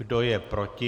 Kdo je proti?